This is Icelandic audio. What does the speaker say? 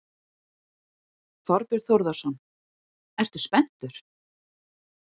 Þorbjörn Þórðarson: Ertu spenntur?